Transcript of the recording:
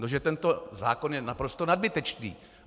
No že tento zákon je naprosto nadbytečný.